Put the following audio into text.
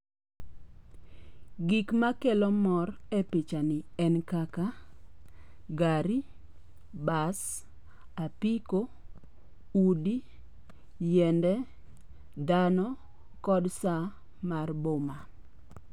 Gik makelo mor e picha ni en kaka gari, bas, apiko, udi, yiende, dhano, kod sa mar boma.